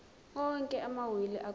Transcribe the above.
onke amawili akuqala